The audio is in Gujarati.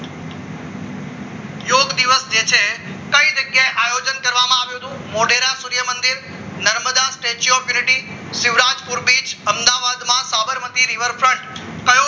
યોગ દિવસ જે છે કઈ જગ્યાએ આયોજન કરવામાં આવ્યો હતો મોઢેરા સૂર્યમંદિર Narmada statue of unity Shivraj કુરબિજ અમદાવાદના સાબરમતી રિવરફ્રન્ટ કયો